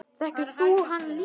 Þekkir þú hana líka?